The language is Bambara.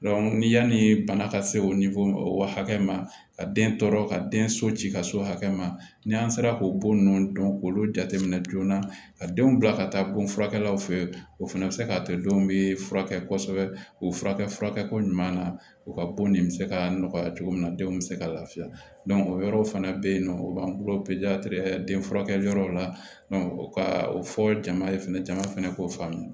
ni yanni bana ka se o nifon o waati ma ka den tɔɔrɔ ka den so ci ka so hakɛ ma ni an sera k'o bon ninnu dɔn k'olu jateminɛ joona ka denw bila ka taa bon furakɛlaw fɛ o fana bɛ se k'a kɛ denw bɛ furakɛ kosɛbɛ k'u furakɛ furakɛko ɲuman na u ka bon nin bɛ se ka nɔgɔya cogo min na denw bɛ se ka lafiya o yɔrɔ fana bɛ yen nɔ u b'an bolo den furakɛ yɔrɔw la ka o fɔ jama ye fɛnɛ jama fana k'o faamu